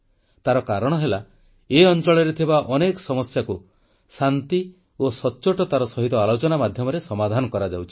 ତାର କାରଣ ହେଲା ଏ ଅଂଚଳରେ ଥିବା ଅନେକ ସମସ୍ୟାକୁ ଶାନ୍ତି ଓ ସଚ୍ଚୋଟତାର ସହିତ ଆଲୋଚନା ମାଧ୍ୟମରେ ସମାଧାନ କରାଯାଉଛି